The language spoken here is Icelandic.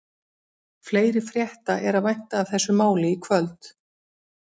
Fleiri frétta er að vænta af þessu máli í kvöld.